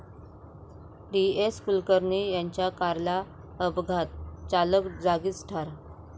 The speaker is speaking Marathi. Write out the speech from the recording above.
डी.एस.कुलकर्णी यांच्या कारला अपघात, चालक जागीच ठार